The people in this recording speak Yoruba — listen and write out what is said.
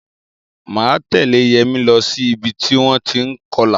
Máa tẹ̀lẹ́ Yẹmi lọ sí ìbi tí wọ́n ti ń kọlà.